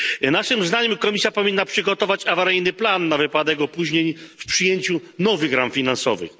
Naszym zdaniem Komisja powinna przygotować plan awaryjny na wypadek opóźnień w przyjęciu nowych ram finansowych.